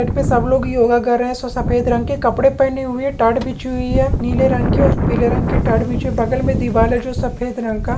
सब लोग योगा कर रहे है सो सफेद रंग के कपड़े पहने हुए है ताड़ बिची हुई है नीले रंग की और पीले रंग की और पीले रंग की ताड़ बिची हुई बगल मे दीवाल है सफेद रंग का।